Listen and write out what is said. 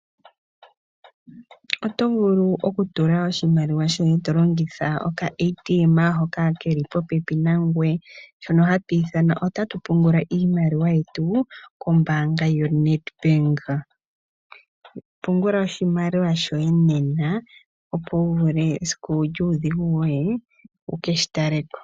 Oto vulu okutula oshimaliwa shoye tolongitha oka-ATM hoka keli popepi nangoye. Shika oha tu shi ithana "ota tu pungula iimaliwa yetu kombaanga yo-Nedbank". Pungula oshimaliwa shoye nena opo wuvule esiku lyuudhigu woye, wu keshi taleko.